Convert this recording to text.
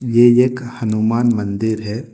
ये एक हनुमान मंदिर है।